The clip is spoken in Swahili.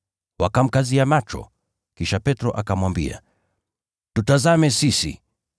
Wakamkazia macho, kisha Petro akamwambia, “Tutazame sisi.”